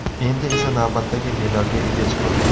Endi esa navbatdagi medalga ega chiqildi.